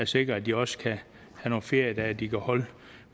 sikres at de også kan have nogle feriedage de kan holde